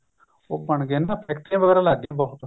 ਉਹ ਬਣਗੇ ਫ਼ੈਕ੍ਟਰੀਆਂ ਵਗੇਰਾ ਲੱਗ ਗਈਆ ਬਹੁਤ